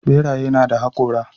Ɓeraye nada haƙora.